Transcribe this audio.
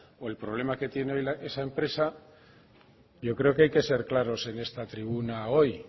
o el problema que tiene esa empresa yo creo que hay que ser claros en esta tribuna hoy